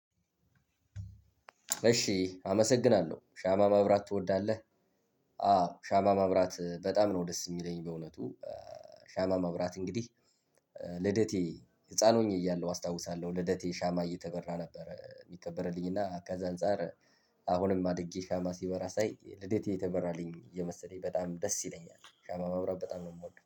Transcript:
እሺ አመሰግናለሁ ሻማ ማብራት ትወዳለህ? አዎ ሻማ ማብራት በጣም ነው ደስ የሚለኝ። በእውነቱ ሻማ መብራት እንግዲህ ልደቴ ህፃን ሆኜ እያለሁ አስታውሳለሁ። ልደቴ ሻማ እየተበራ ነበረ የሚከበርልኝ እና ከዛ አንፃር። አሁንም አድጌ ሻማ ሲበራ ሳይ ልደቴ የተበራልኝ የመሰለኝ በጣም ደስ ይለኛል። ሻማ ማብራት በጣም ነው የምወደው